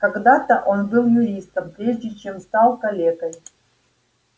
когда-то он был юристом прежде чем стал калекой